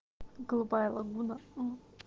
голубая лагуна мм